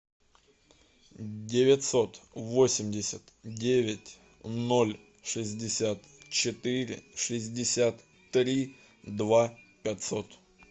девятьсот восемьдесят девять ноль шестьдесят четыре шестьдесят три два пятьсот